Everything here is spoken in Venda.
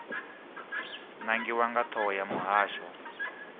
nangiwa nga thoho ya muhasho